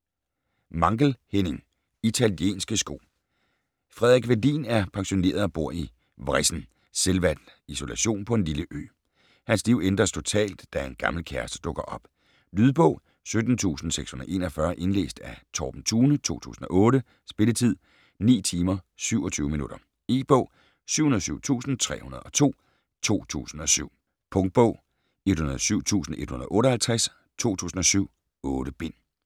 Mankell, Henning: Italienske sko Frederik Welin er pensioneret og bor i vrissen, selvvalgt isolation på en lille ø. Hans liv ændres total, da en gammel kæreste dukker op. Lydbog 17641 Indlæst af Torben Thune, 2008. Spilletid: 9 timer, 27 minutter. E-bog 707302 2007. Punktbog 107158 2007. 8 bind.